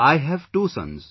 I have two sons